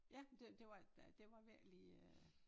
Ja men det det var øh det var virkelig øh